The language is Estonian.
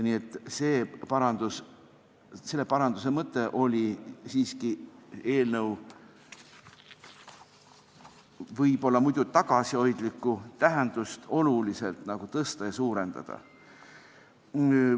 Nii et selle paranduse mõte oli siiski eelnõu võib-olla muidu tagasihoidlikku tähendust oluliselt suurendada.